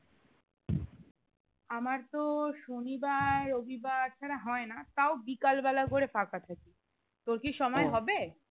আমার তো শনিবার রবিবার ছাড়া হয় না তাও বিকাল বেলা করে ফাঁকা থাকি তোর কি সময় হবে?